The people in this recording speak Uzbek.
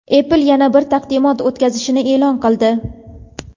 Apple yana bir taqdimot o‘tkazishini e’lon qildi.